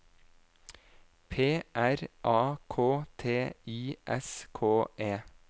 P R A K T I S K E